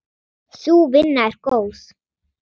Sú vinna er góð.